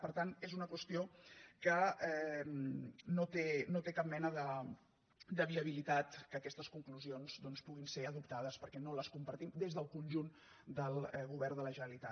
per tant és una qüestió que no té cap mena de viabilitat que aquestes conclusions puguin ser adoptades perquè no les compartim des del conjunt del govern de la generalitat